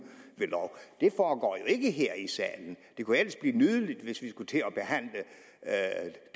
ved lov det foregår jo ikke her i salen det kunne ellers blive nydeligt hvis vi skulle til at